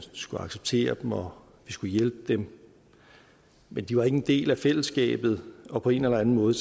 skulle acceptere dem og hjælpe dem men de var ikke en del af fællesskabet og på en eller anden måde